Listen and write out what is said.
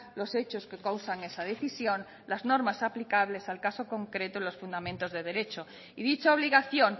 los hechos que causan esa decisión las normas aplicables al caso en concreto y los fundamentos de derecho y dicha obligación